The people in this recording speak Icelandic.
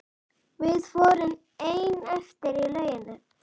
Við vorum ein eftir í lauginni.